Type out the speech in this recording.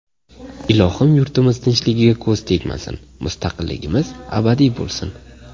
Ilohim yurtimiz tinchligiga ko‘z tegmasin, mustaqilligimiz abadiy bo‘lsin.